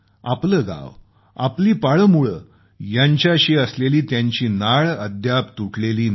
आपलं गावं आपली पाळंमुळं यांच्याशी असलेली त्यांची नाळ अद्याप तुटलेली नाही